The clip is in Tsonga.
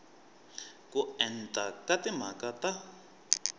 ko enta ka timhaka ta